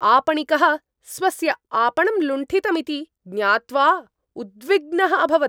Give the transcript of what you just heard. आपणिकः स्वस्य आपणं लुण्ठितमिति ज्ञात्वा उद्विग्नः अभवत्।